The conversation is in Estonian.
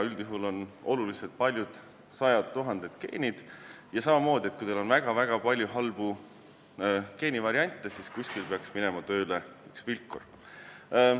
Üldjuhul on paljud, sajad tuhanded geenid, ja samamoodi, kui teil on väga palju halbu geenivariante, siis kuskil peaks n-ö vilkur tööle minema.